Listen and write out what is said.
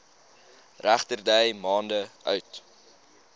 regterdy maande oud